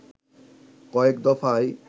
কয়েক দফায়